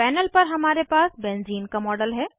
panel पर हमारे पास बेंज़ीन का मॉडल है